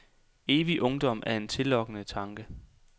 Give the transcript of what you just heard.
Evig ungdom er en tillokkende tanke.